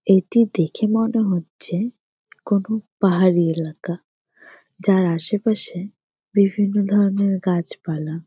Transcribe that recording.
এইটি দেখে মনে হচ্ছে কোনো পাহাড়ি এলাকা যার আশেপাশে বিভিন্ন ধরণের গাছ পালা।